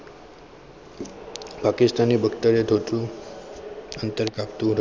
પાકિસ્તાનનું વક્તવ્ય અંતર કાપતું હતું.